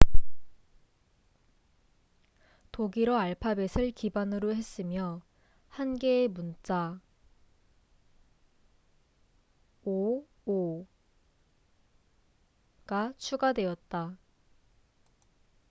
"독일어 알파벳을 기반으로 했으며 1개의 문자 "õ/õ""가 추가되었다.